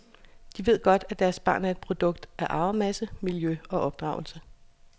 De ved godt at deres barn er et produkt af arvemasse, miljø og opdragelse.